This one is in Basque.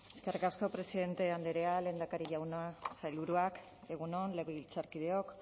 eskerrik asko presidente andrea lehendakari jauna sailburuak egun on legebiltzarkideok